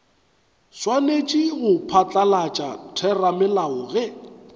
swanetše go phatlalatša theramelao ge